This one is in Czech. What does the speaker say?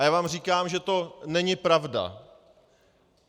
A já vám říkám, že to není pravda.